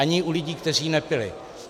Ani u lidí, kteří nepili.